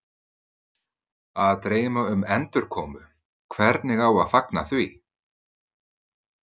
Að dreyma um endurkomu, hvernig á að fagna því?